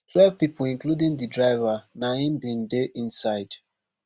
twelve pipo including didriver n aim bin dey inside